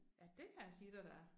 Ja det kan jeg sige dig der er